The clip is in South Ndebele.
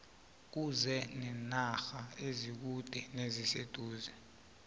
kuze nenarha ezikude neziseduze